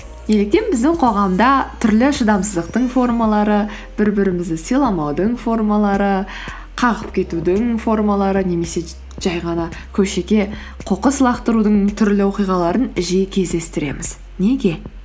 неліктен біздің қоғамда түрлі шыдамсыздықтың формалары бір бірімізді сыйламаудың формалары қағып кетудің формалары немесе жай ғана көшеге қоқыс лақтырудың түрлі оқиғаларын жиі кездестіреміз неге